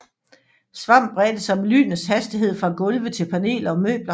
Svamp bredte sig med lynets hastighed fra gulve til paneler og møbler